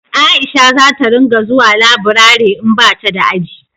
Aisha za ta ringa zuwa laburare in bata da aji